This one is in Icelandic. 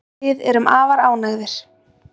Við erum afar ánægðir